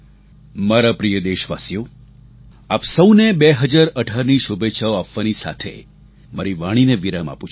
મારા પ્રિય દેશવાસીઓ આપ સૌને 2018ની શુભેચ્છાઓ આપવાની સાથે મારી વાણીને વિરામ આપુ છું